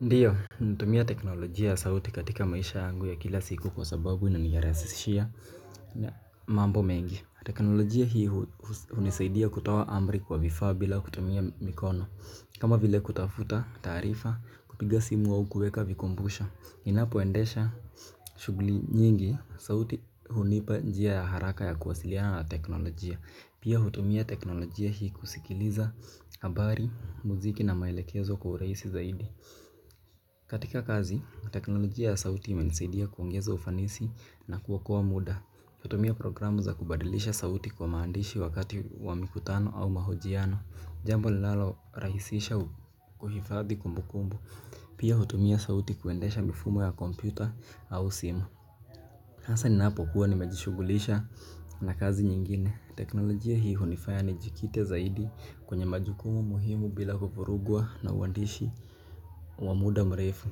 Ndiyo, ninatumia teknolojia ya sauti katika maisha yangu ya kila siku kwa sababu inanirahisishia mambo mengi. Teknolojia hii hunisaidia kutoa amri kwa vifaa bila kutumia mikono. Kama vile kutafuta taarifa, kupiga simu au kuweka vikumbusho, ninapoendesha shughuli nyingi sauti hunipa njia ya haraka ya kuwasiliana na teknolojia. Pia hutumia teknolojia hii kusikiliza habari, muziki na maelekezo kwa urahisi zaidi. Katika kazi, teknolojia ya sauti imenisidia kuongeza ufanisi na kuokoa muda. Hutumia programu za kubadilisha sauti kwa maandishi wakati wa mikutano au mahojiano. Jambo linalorahisisha kuhifadhi kumbukumbu. Pia hutumia sauti kuendesha mifumo ya kompyuta au simu. Hasa ninapokuwa nimejishughulisha na kazi nyingine. Teknolojia hii hunifaya nijikite zaidi kwenye majukumu muhimu bila kuvurugwa na uandishi wa muda mrefu.